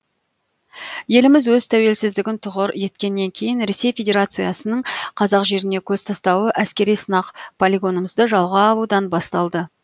еліміз өз тәуелсіздігін тұғыр еткеннен кейін ресей федерациясының қазақ жеріне көз тастауы әскери сынақ полигонымызды жалға алудан басталды